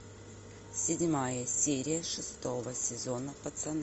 седьмая серия шестого сезона пацаны